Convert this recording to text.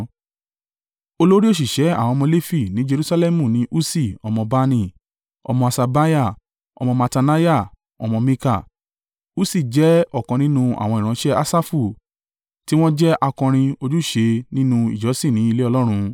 Olórí òṣìṣẹ́ àwọn ọmọ Lefi ní Jerusalẹmu ní Ussi ọmọ Bani, ọmọ Haṣabiah, ọmọ Mattaniah ọmọ Mika. Ussi jẹ́ ọ̀kan nínú àwọn ìran Asafu tí wọ́n jẹ́ akọrin ojúṣe nínú ìjọ́sìn ní ilé Ọlọ́run.